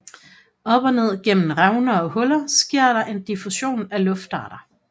Op og ned gennem revner og huller sker der en diffusion af luftarter